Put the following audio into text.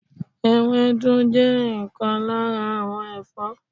ewédú je nkan lara awon Ẹfọ́